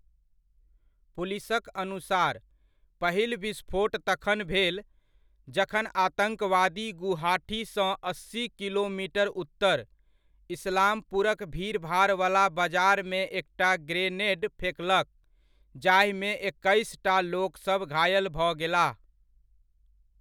पुलिसक अनुसार, पहिल विस्फोट तखन भेल, जखन आतङ्कवादी गुवाहाटीसँ अस्सी किलोमीटर उत्तर, इस्लामपुरक भीड़भाड़ वला बजारमे एकटा ग्रेनेड फेकलक, जाहिमे एक्कैसटा लोकसभ घायल भऽ गेलाह।